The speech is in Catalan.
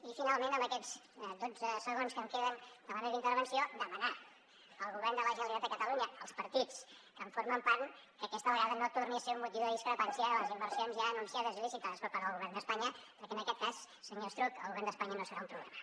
i finalment en aquests dotze segons que em queden de la meva intervenció demanar al govern de la generalitat de catalunya als partits que en formen part que aquesta vegada no tornin a ser un motiu de discrepància les inversions ja anunciades i licitades per part del govern d’espanya perquè en aquest cas senyor estruch el govern d’espanya no serà un problema